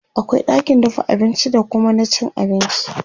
akwai ɗakin dafa abinci da Kuma na cin abinci